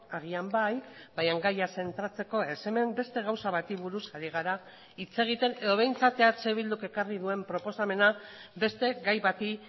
agian bai baina gaia zentratzeko ez hemen beste gauza bati buruz ari gara hitz egiten edo behintzat eh bilduk ekarri duen proposamena beste gai bati